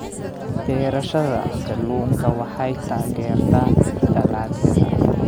Beerashada kalluunka waxay taageertaa dalagyada.